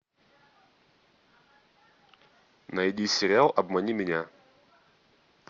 найди сериал обмани меня